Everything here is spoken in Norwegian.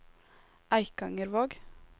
Eikangervåg